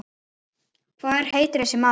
Hver heitir þessi staður?